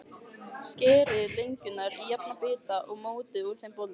Skerið lengjurnar í jafna bita og mótið úr þeim bollur.